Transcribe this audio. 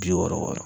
Bi wɔɔrɔ wɔɔrɔ